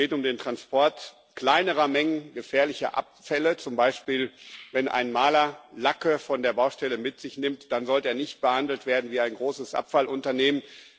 Es geht um den Transport kleinerer Mengen gefährlicher Abfälle, zum Beispiel Wenn ein Maler Lacke von der Baustelle mitnimmt, dann sollte er nicht behandelt werden wie ein großes Abfallunternehmen.